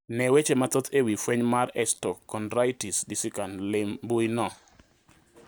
Ne weche mathoth e wi fueny mar osteochondritis dissecans lim mbui no